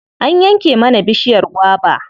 An yanke mana bishiyar gwaba.